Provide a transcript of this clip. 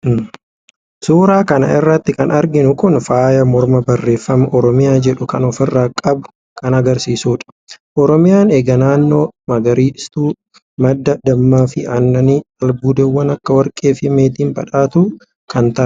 suuraa kana irratti kan arginu kun faaya mormaa barreeffama oromiyaa jedhu kan ofirraa qabu kan agarsiisudha. oromiyaan egaa naannoo magariituu, madda dammaafi aannani, albuudawwan akka warqeefi meetiin badhaatuu kan taate dha.